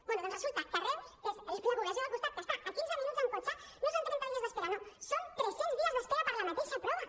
bé doncs resulta que a reus que és la població del costat que està a quinze minuts en cotxe no són trenta dies d’espera no són tres cents dies d’espera per la mateixa prova